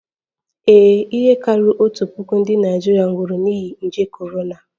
Ee, ihe karịrị otu puku ndị Naịjirịa nwụrụ n'ihi nje korona